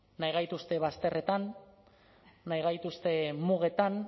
nahi gaituzte bazterretan nahi gaituzte mugetan